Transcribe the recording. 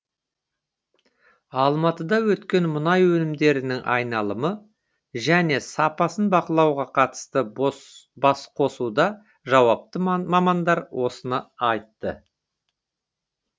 алматыда өткен мұнай өнімдерінің айналымы және сапасын бақылауға қатысты басқосуда жауапты мамандар осыны айтты